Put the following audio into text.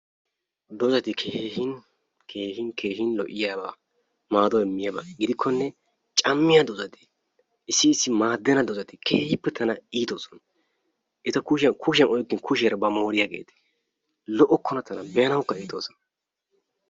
Doozati keehin keehin keehin lo"iyaaba maado immiyaaba giddikkonne cammiya doozati issi issi maaddenna doozati keehippe tana iitoosona. Eta kushiyan kushiyan oyikkin kushiyaara ubbaa mooriyaageeti lo"okkona tana be"anawukka iitoosona.